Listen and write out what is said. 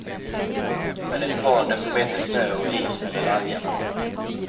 Med ett par decimeter snö och is under laggarna.